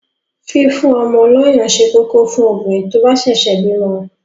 Fífún ọmọ lọyàn ṣé kókó fún obìnrin tó bá ṣẹ̀ṣẹ̀ bímọ.